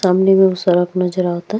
सामने नज़र आवता।